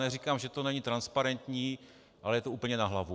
Neříkám, že to není transparentní, ale je to úplně na hlavu.